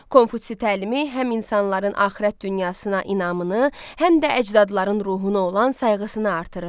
Konfutsi təlimi həm insanların axirət dünyasına inamını, həm də əcdadların ruhuna olan sayğısını artırırdı.